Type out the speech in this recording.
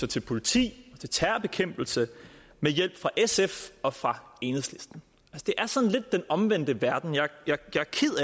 til politi og til terrorbekæmpelse med hjælp fra sf og fra enhedslisten det er sådan lidt den omvendte verden og jeg